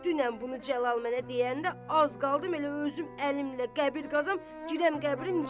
Dünən bunu Cəlal mənə deyəndə az qaldım elə özüm əlimlə qəbir qazam, girəm qəbrinin içinə.